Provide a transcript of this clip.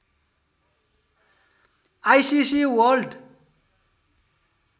ICC world